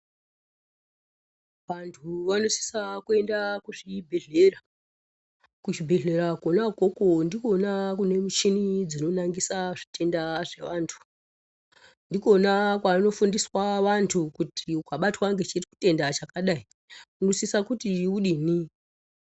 Vantu vanosisa kuenda kuzvibhehlera kuzvibhehlera kona ukoko ndikona kune muchini dzinonangisa zvitenda zvevantu ndikona kwano fundiswa vantu kuti ukabatwawo ngechitenda chakadai unosisa kuti udini.